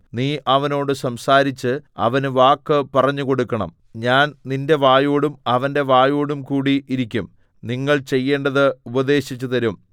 നീ അവനോട് സംസാരിച്ച് അവന് വാക്ക് പറഞ്ഞുകൊടുക്കണം ഞാൻ നിന്റെ വായോടും അവന്റെ വായോടുംകൂടി ഇരിക്കും നിങ്ങൾ ചെയ്യേണ്ടത് ഉപദേശിച്ചു തരും